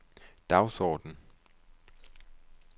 dagsorden